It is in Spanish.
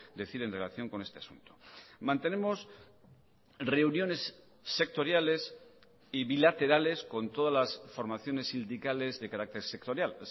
decir en relación con este asunto mantenemos reuniones sectoriales y bilaterales con todas las formaciones sindicales de carácter sectorial